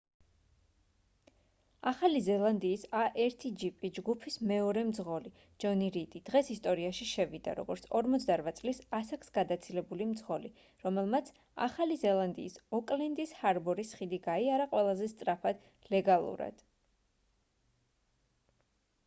ახალი ზელანდიის a1gp ჯგუფის მეორე მძღოლი ჯონი რიდი დღეს ისტორიაში შევიდა როგორც 48 წლის ასაკს გადაცილებული მძღოლი რომელმაც ახალი ზელანდიის ოკლენდის ჰარბორის ხიდი გაიარა ყველაზე სწრაფად ლეგალურად